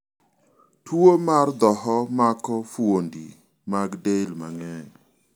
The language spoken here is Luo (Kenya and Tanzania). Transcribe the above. tuo mar dhoho mako fuondi mag del mang'eny